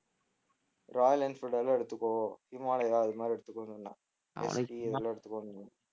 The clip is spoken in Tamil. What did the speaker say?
ராயல் என்ஃபீல்ட் வேணா எடுத்துக்கோ ஹிமாலயா அது மாதிரி எடுத்துக்கோன்னு சொன்னேன் எடுத்துக்கோ சொன்னேன்